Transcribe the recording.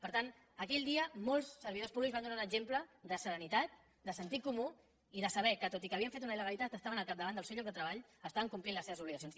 per tant aquell dia molts servidors públics van donar un exemple de serenitat de sentit comú i de saber que tot i que havien fet una il·legalitat estaven al capdavant del seu lloc de treball estaven complint les seves obligacions